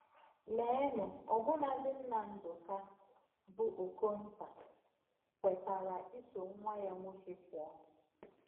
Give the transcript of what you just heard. Leenụ, ọbụnadị nna Ndụka, bụ́ Okonta, kwetara iso nwa ya nwoke pụọ!